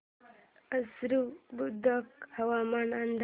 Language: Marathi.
आश्वी बुद्रुक हवामान अंदाज